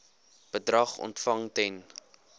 bedrag ontvang ten